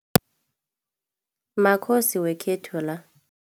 Makhosi wekhethu la.